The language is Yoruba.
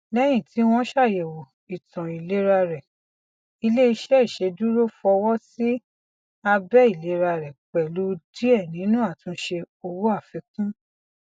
lẹyìn tí wọn ṣàyẹwò ìtàn ìlera rẹ iléiṣẹ iṣeduro fọwọ sí àbẹ ìlera rẹ pẹlú díẹ nínú àtúnṣe owó àfikún